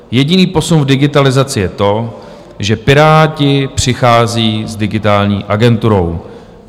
Jediný posun v digitalizaci je to, že Piráti přicházejí s Digitální agenturou.